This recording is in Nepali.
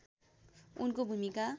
उनको भूमिका